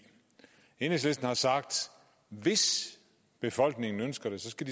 enhedslisten har sagt at hvis befolkningen ønsker det skal